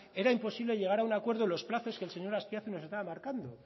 era imposible llegar a un acuerdo en los plazos que el señor azpiazu nos estaba marcando